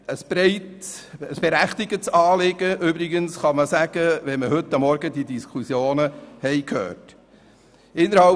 Wenn man die Diskussion von heute Morgen gehört hat, kann man sagen, das Anliegen sei berechtigt.